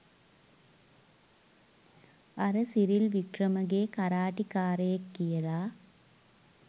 අර සිරිල් වික්‍රමගේ කරාටි කාරයෙක් කියලා